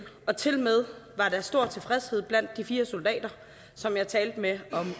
og tilmed var der stor tilfredshed blandt de fire soldater som jeg talte med om